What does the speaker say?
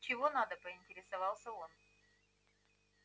чего надо поинтересовался он